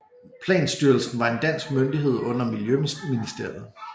Planstyrelsen var en dansk myndighed under Miljøministeriet